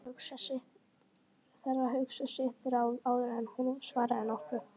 Þarf að hugsa sitt ráð áður en hún svarar nokkru.